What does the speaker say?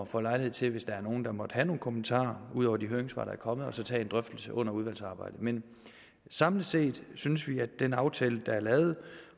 får lejlighed til hvis der er nogle der måtte have nogle kommentarer ud over de høringssvar der er kommet at tage en drøftelse under udvalgsarbejdet men samlet set synes vi at den aftale der er lavet